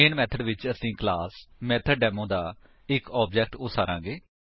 ਮੈਨ method ਵਿੱਚ ਅਸੀ class method demo ਦਾ ਇੱਕ ਆਬਜੇਕਟ ਉਸਾਰਾਂਗੇ